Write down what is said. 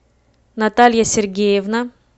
наталья сергеевна